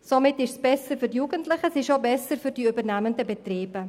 Somit ist es besser für die Jugendlichen und die übernehmenden Betriebe.